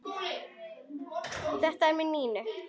Hvað með Nínu?